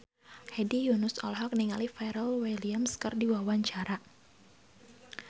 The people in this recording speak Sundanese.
Hedi Yunus olohok ningali Pharrell Williams keur diwawancara